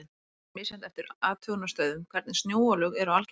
Mjög er misjafnt eftir athugunarstöðvum hvernig snjóalög eru algengust.